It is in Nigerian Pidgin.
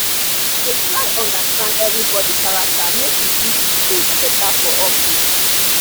i dey try understand everybody character make we fit relate better for office.